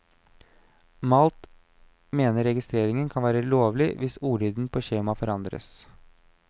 Malt mener registreringen kan være lovlig hvis ordlyden på skjemaet forandres.